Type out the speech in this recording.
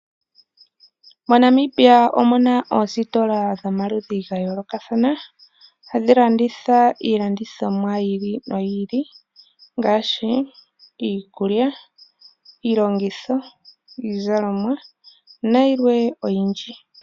MoNamibia omuna oositola dhomaludhi gayoolokathana hadhi landitha iilandithomwa yi ili noyi ili ngaashi, iikulya, iilongitho, iizalomwa nayilwe oyindji.